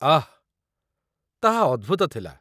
ଆଃ! ତାହା ଅଦ୍ଭୂତ ଥିଲା।